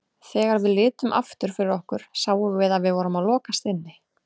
Þegar við litum aftur fyrir okkur sáum við að við vorum að lokast inni.